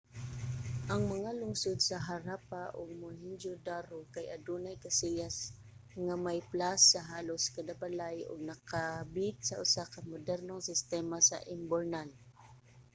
ang mga lungsod sa harappa ug mohenjo-daro kay adunay kasilyas nga may plas sa halos kada balay ug nakabit sa usa ka modernong sistema sa imburnal